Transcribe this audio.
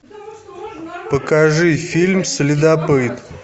покажи фильм следопыт